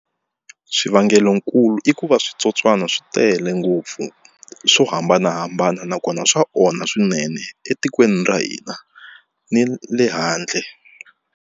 Swivangelonkulu i ku va switsotswana swi tele ngopfu swo hambanahambana nakona swa onha swinene etikweni ra hina ni le handle.